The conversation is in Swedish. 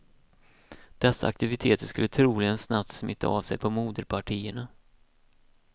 Dessa aktiviteter skulle troligen snabbt smitta av sig på moderpartierna.